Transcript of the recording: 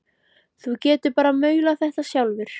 Þú getur bara maulað þetta sjálfur!